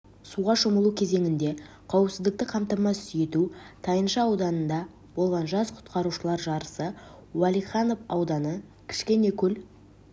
суға шомылу кезеңінде қауіпсіздікті қамтамасыз ету тайынша ауданында болған жас құтқарушылар жарысы уәлиханов ауданы кішкенекөл